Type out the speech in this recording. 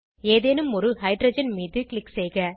ஏதேனும் ஒரு ஹைட்ரஜன் மீது க்ளிக் செய்க